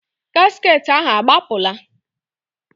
Gasket ahụ agbapụla?